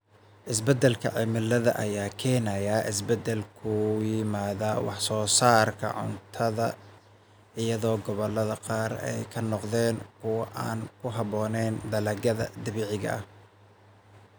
Isbeddelka cimilada ayaa keenaya isbeddel ku yimaada wax soo saarka cuntada, iyadoo gobollada qaar ay noqdeen kuwo aan ku habboonayn dalagyada dabiiciga ah.